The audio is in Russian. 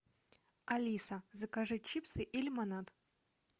алиса закажи чипсы и лимонад